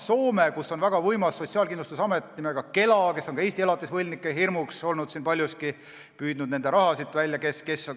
Soomes on väga võimas sotsiaalkindlustusamet nimega KELA, kes on ka Eesti elatisvõlgnike hirm paljuski olnud, sest ta on nende raha püüdnud.